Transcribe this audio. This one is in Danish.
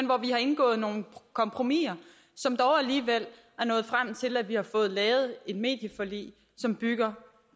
hvor vi har indgået nogle kompromiser som dog alligevel er nået frem til at vi har fået lavet et medieforlig som bygger